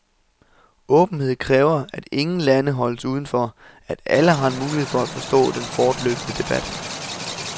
Åbenhed kræver, at ingen lande holdes udenfor, at alle har en mulighed for at forstå den fortløbende debat.